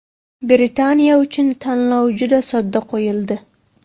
Britaniya uchun tanlov juda sodda qo‘yildi.